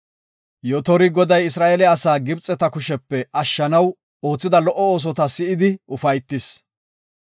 Yotori Goday Isra7eele asaa Gibxeta kushepe ashshanaw oothida lo77o oosotaba si7idi ufaytis.